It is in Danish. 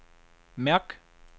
mærk